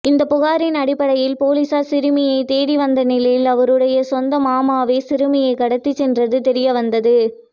இந்த புகாரின் அடிப்படையில் போலீசார் சிறுமியை தேடி வந்த நிலையில் அவருடைய சொந்த மாமாவே சிறுமியை கடத்திச் சென்றது தெரியவந்தது